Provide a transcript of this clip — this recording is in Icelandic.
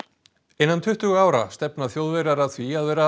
innan tuttugu ára stefna Þjóðverjar að því að vera